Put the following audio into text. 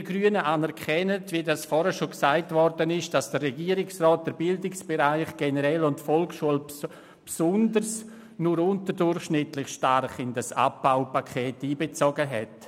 Wir Grünen anerkennen, dass der Regierungsrat den Bildungsbereich und insbesondere die Volksschule nur unterdurchschnittlich stark in das Abbaupaket einbezogen hat.